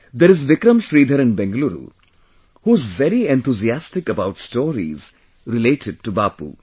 There is Vikram Sridhar in Bengaluru, who is very enthusiastic about stories related to Bapu